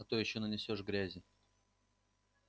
а то ещё нанесёшь грязи